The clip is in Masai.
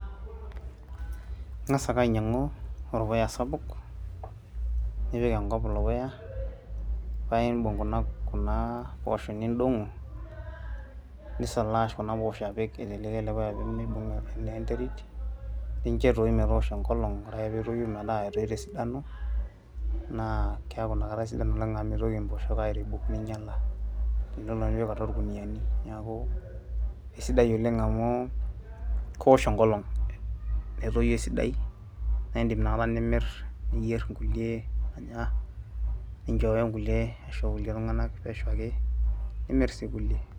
ing'as ake ainyiang'u orpuya sapuk nipik enkop ilo puya paimbung kuna, kuna poosho nindong'o nisalash kuna poosho apik aiteleki ele puya pee meibung naa enterit nincho etoyu metoosho enkolong ore ake peetoyu metaa etoito esidano naa keeku inakata isidan oleng amu mitoki impooshok airebuk ninyiala enelo naaji nipik atua irkuniani niaku isidai oleng amu kewosh enkolong netoyu esidai naindim inakata nimirr niyierr inkulie anya ninchooyo inkulie aisho kulie tung'anak pesho ake nimirr sii kulie.